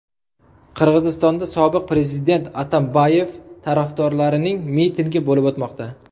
Qirg‘izistonda sobiq prezident Atambayev tarafdorlarining mitingi bo‘lib o‘tmoqda.